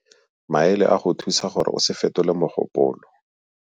Maele a go go thusa gore o se fetole mogopolo.